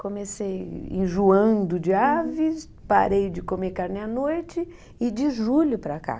Comecei enjoando de aves, parei de comer carne à noite e de julho para cá.